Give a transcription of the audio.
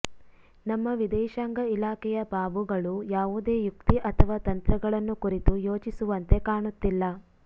ನಮ್ಮ ವಿದೇಶಾಂಗ ಇಲಾಖೆಯ ಬಾಬುಗಳು ಯಾವದೇ ಯುಕ್ತಿ ಅಥವಾ ತಂತ್ರಗಳನ್ನು ಕುರಿತು ಯೋಚಿಸುವಂತೆ ಕಾಣುತ್ತಿಲ್ಲ